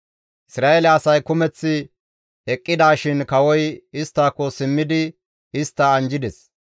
Isra7eele asay kumeth eqqidishin kawoy isttako simmidi istta anjjides.